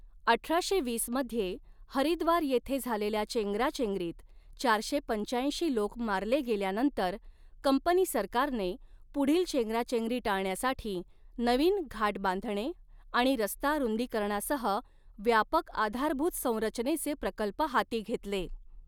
अठराशे वीस मध्ये हरिद्वार येथे झालेल्या चेंगराचेंगरीत चारशे पंचाऐंशी लोक मारले गेल्यानंतर, कंपनी सरकारने पुढील चेंगराचेंगरी टाळण्यासाठी नवीन घाट बांधणे आणि रस्ता रुंदीकरणासह व्यापक आधारभूत संरचनेचे प्रकल्प हाती घेतले.